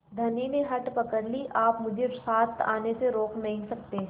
धनी ने हठ पकड़ ली आप मुझे साथ आने से रोक नहीं सकते